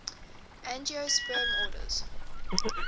angiosperm orders